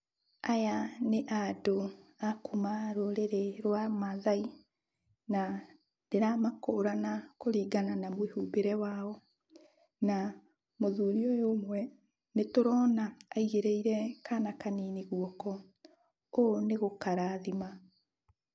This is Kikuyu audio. Aya nĩ andũ a kuuma rũrĩrĩ rwa Maathai, na ndĩramakũrana kũringana na mwĩhumbĩre wao. Na, mũthuri ũyũ ũmwe nĩtũrona aigĩrĩire kana kanini gũoko, ũũ nĩ gũkarathima.